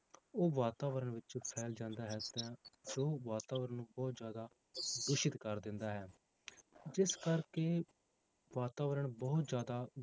ਉਹ ਵਾਤਾਵਰਨ ਵਿੱਚ ਫੈਲ ਜਾਂਦਾ ਹੈ ਤਾਂ ਜੋ ਵਾਤਾਵਰਨ ਨੂੰ ਬਹੁਤ ਜ਼ਿਆਦਾ ਦੂਸ਼ਿਤ ਕਰ ਦਿੰਦਾ ਹੈ ਜਿਸ ਕਰਕੇ ਵਾਤਾਵਰਨ ਬਹੁਤ ਜ਼ਿਆਦਾ